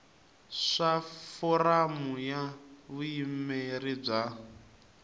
swa foramu ya vuyimeri bya